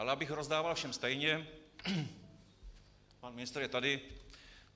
Ale abych rozdával všem stejně - pan ministr je tady.